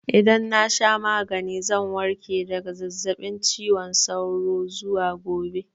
Idan na sha magani zan warke daga zazzaɓin cizon sauro zuwa gobe.